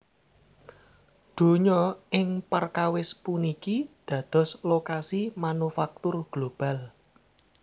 Donya ing perkawis puniki dados lokasi manufaktur global